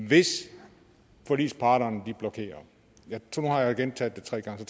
hvis forligsparterne blokerer nu har jeg gentaget det tre gange så